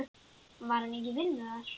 Var hann ekki í vinnu þar?